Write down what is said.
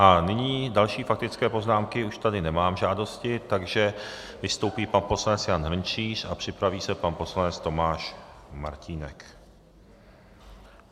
A nyní další faktické poznámky už tady nemám, žádosti, takže vystoupí pan poslanec Jan Hrnčíř a připraví se pan poslanec Tomáš Martínek.